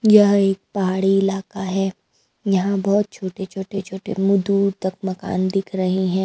यह एक पहाड़ी इलाका है यहाँ बहुत छोटे छोटे छोटे म दूर तक मकान दिख रहे हैं।